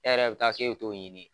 E yɛrɛ bi taa k'a bi t'o ɲini